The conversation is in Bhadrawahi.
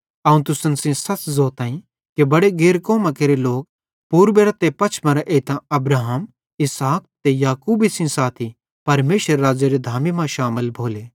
अवं तुसन सेइं ज़ोताईं कि बड़े गैर कौमां केरे लोक पूर्बेरां ते पछमेरां एइतां अब्राहमे इसहाक ते याकूबे सेइं साथी परमेशरेरे राज़्ज़ेरी धामी मां शामिल भोले